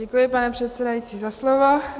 Děkuji, pane předsedající, za slovo.